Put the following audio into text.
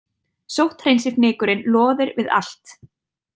Sótthreinsifnykurinn loðir við allt.